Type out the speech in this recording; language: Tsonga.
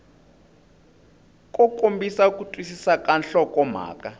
kombisa ku twisisa ka nhlokomhaka